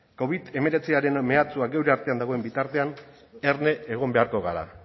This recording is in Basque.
covid hemeretziaren mehatxuak geure artean dagoen bitartean erne egon beharko gara